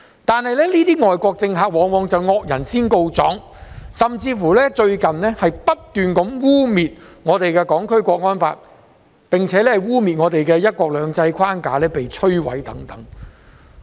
可是，這些外國政客往往惡人先告狀，近日甚至不斷污衊我們的《香港國安法》，又污衊指我們"一國兩制"的框架已被摧毀等。